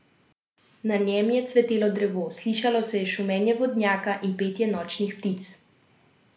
Na njem je cvetelo drevo, slišalo se je šumenje vodnjaka in petje nočnih ptic.